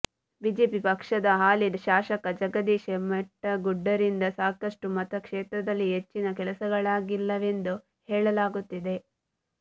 BJP ಪಕ್ಷದ ಹಾಲಿ ಶಾಸಕ ಜಗದೀಶ ಮೆಟಗುಡ್ಡರಿಂದ ಸಾಕಷ್ಟು ಮತಕ್ಷೇತ್ರದಲ್ಲಿ ಹೆಚ್ಚಿನ ಕೆಲಸಗಳಾಗಿಲ್ಲವೆಂದು ಹೇಳಲಾಗುತ್ತಿದೆ